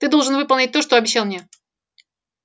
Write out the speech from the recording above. ты должен выполнить то что обещал мне